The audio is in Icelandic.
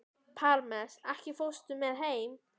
niður hlíðina með miklum ópum og lífsháska.